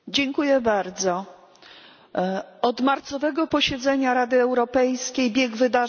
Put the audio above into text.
Od marcowego posiedzenia Rady Europejskiej bieg wydarzeń uległ ogromnemu przyspieszeniu.